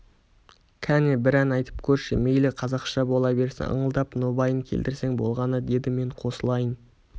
кәне бір ән айтып көрші мейлі қазақша бола берсін ыңылдап нобайын келтірсең болғаны деді мен қосылайын